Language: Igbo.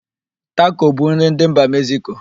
Tako bụ nri ndị mba Mekziko.